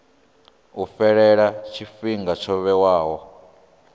u fhela tshifhinga tsho vhewaho